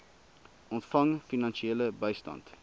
ontvang finansiële bystand